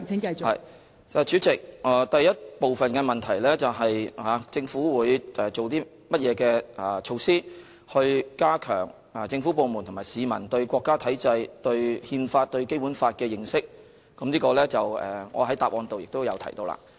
代理主席，第一部分的問題是，政府會以甚麼措施加強政府部門和市民對國家體制、對憲法和對《基本法》的認識，就此我在主體答覆中已有回答。